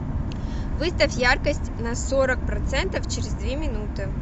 выставь яркость на сорок процентов через две минуты